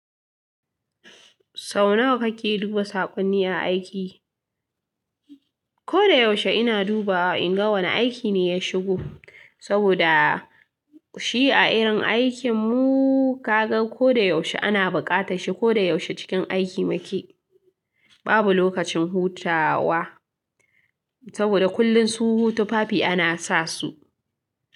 Sau nawa kake duba saƙonni a aiki? Ko da yaushe ina duba in ga wane aiki ne ya shigo. Saboda shi a irin aikinmu kaga ko da yaushe ana buƙata shi, ko da yaushe cikin aiki muke. Babu lokacin hutawa saboda kullum su tufafi ana sa su.